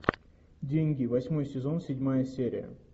деньги восьмой сезон седьмая серия